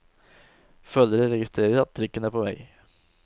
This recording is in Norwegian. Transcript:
Følere registrerer at trikken er på vei.